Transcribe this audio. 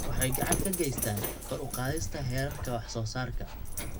Waxay gacan ka geystaan ??kor u qaadista heerarka wax soo saarka.